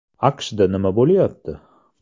AQShda nima bo‘lyapti?